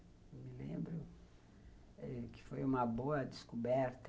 Eu me lembro que foi uma boa descoberta.